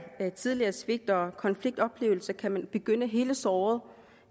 tidligere svigt og konfliktoplevelser kan man begynde at hele såret